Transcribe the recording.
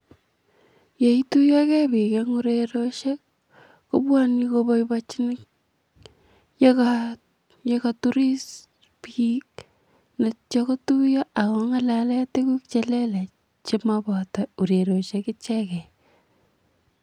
Yeityogee bik en urerioshek kobwone koboiboechin yekaa yekoturis bik ak ityo kotuyo ak kongalen tukuk chelelach chenoboto urerioshek icheken.